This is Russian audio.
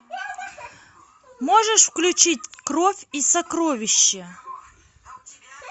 можешь включить кровь и сокровища